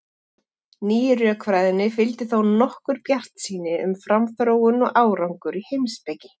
Nýju rökfræðinni fylgdi þó nokkur bjartsýni um framþróun og árangur í heimspeki.